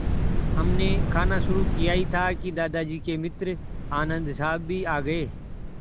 हमने खाना शुरू किया ही था कि दादाजी के मित्र आनन्द साहब भी आ गए